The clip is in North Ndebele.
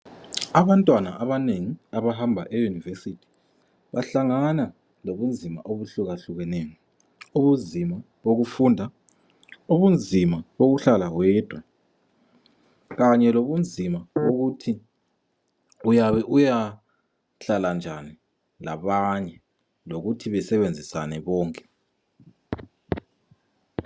Abantwana abanengi abahamba eyunevesiti, bahlangana lobunzima obuhlukahlukeneyo. Ubunzima bokufunda, ubunzima bokuhlala wedwa kanye lobunzima bokuthi uyabe uyahlala njani labanye lokuthi besebenzisane bonke.